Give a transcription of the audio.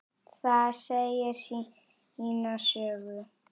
Það segir sína sögu.